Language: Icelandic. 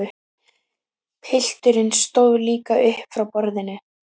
Pilturinn stóð líka upp frá borðinu.